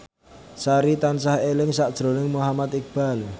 Sari tansah eling sakjroning Muhammad Iqbal